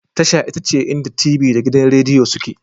Tasha ita ce inda t.v da gidan Rediyo suke